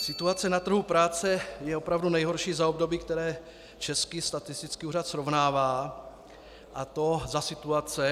Situace na trhu práce je opravdu nejhorší za období, které Český statistický úřad srovnává, a to za situace -